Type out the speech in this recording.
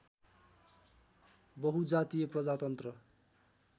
बहुजातीय प्रजातन्त्र